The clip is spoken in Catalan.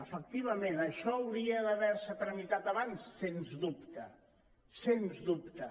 efectivament això hauria d’haver·se tra·mitat abans sens dubte sens dubte